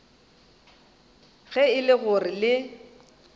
ge e le gore le